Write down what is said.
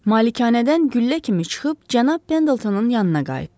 Malikanədən güllə kimi çıxıb cənab Pendletonun yanına qayıtdı.